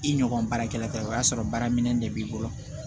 I ɲɔgɔn baarakɛla ye o y'a sɔrɔ baara minɛn de b'i bolo